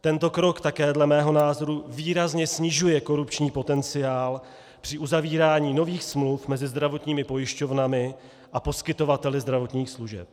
Tento krok také dle mého názoru výrazně snižuje korupční potenciál při uzavírání nových smluv mezi zdravotními pojišťovnami a poskytovateli zdravotních služeb.